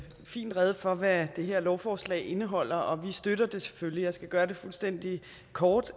fint rede for hvad det her lovforslag indeholder og vi støtter det selvfølgelig jeg skal gøre det fuldstændig kort